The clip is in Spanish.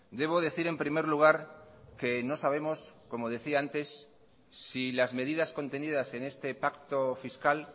debo decir en primer lugar que no sabemos como decía antes si las medidas contenidas en este pacto fiscal